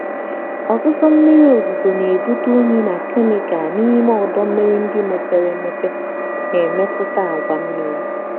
ọsịsọ miri ozuzo na-ebute unyi na kemịkal n'ime ọdọ mmiri ndị mepere emepe na-emetụta àgwà mmiri.